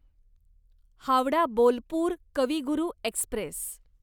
Howrah Bolpur Kavi Guru Express